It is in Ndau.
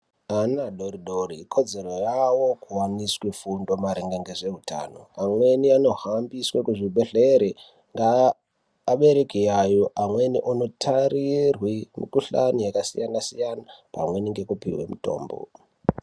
Ana adoridori ikodzero yawo kuwaniswe fundo maringe ngezveutano amweni anohambiswe kuzvibhehlera ngeabereki yayo amweni onotarirwe mukhuhlani yakasiyanasiyana pamwe nekupiwe mutombo.